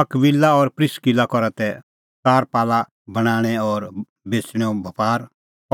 अकबिला और प्रिस्किला करा तै तरपाला बणांणैं और बेच़णेंओ बपार